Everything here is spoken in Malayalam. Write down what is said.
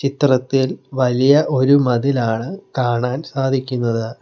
ചിത്രത്തിൽ വലിയ ഒരു മതിലാണ് കാണാൻ സാധിക്കുന്നത്.